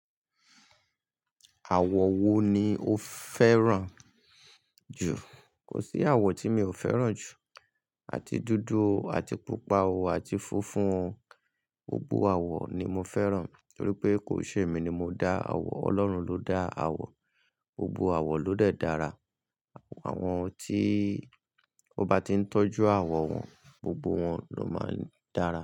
Àwọ̀ wo ni o fẹ́ràn jù? Kò sí àwọ̀ tí mi ò fẹ́ràn jù, àti dúdú, àti pupa, àti funfun. Gbogbo àwọ̀ ni mo fẹ́ràn torí pé kò ṣe èmi ni mo dá àwọ̀, Ọlọ́run ló dá àwọ̀. Gbogbo àwọ̀ ló lè dára. Àwọn tí ó bá ti ń tọ́jú àwọ̀ wọn, gbogbo wọn ló máa ń dára.